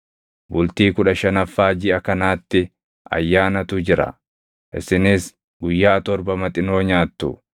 Bultii kudha shanaffaa jiʼa kanaatti ayyaanatu jira; isinis guyyaa torba Maxinoo nyaattu.